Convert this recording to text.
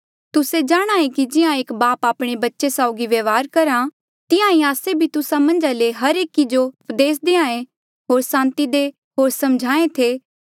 तुस्से जाणहां ऐें कि जिहां एक बाप आपणे बच्चे साउगी व्यवहार करहा तिहां ईं आस्से भी तुस्सा मन्झा ले हर एकी जो उपदेस देहां ऐें होर सांति देहां ऐें होर सम्झाहें थे